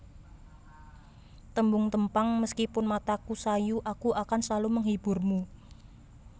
Tembung Tempang Meskipun mataku sayu aku akan selalu menghiburmu